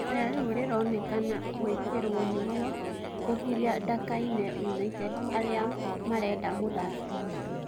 Ihoya rĩu rĩronekana gũekerwo nĩguo kũgiria Ndakaine United arĩa marenda mũthaki ũcio